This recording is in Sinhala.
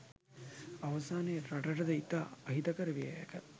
අවසානයේ රටටද ඉතා අහිතකර විය හැක